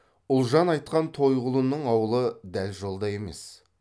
ұлжан айтқан тойғұлының аулы дәл жолда емес